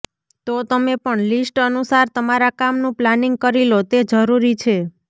તો તમે પણ લિસ્ટ અનુસાર તમારા કામનું પ્લાનિંગ કરી લો તે જરૂરી છે